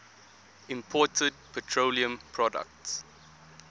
imported petroleum products